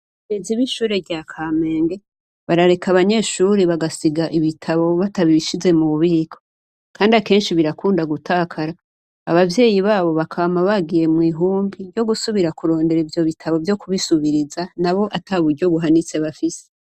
Abarezi b'ishure rya Kamenge barareka abanyeshure bagasiga ibitabo batabishize mu bubiko kandi akenshi birakunda gutakara abavyeyi babo bakama bagiye mw'ihumbi ryo gusubira kurondera ivyo bitabo vyo kubisubiriza nabo ata buryo buhanitse bafise.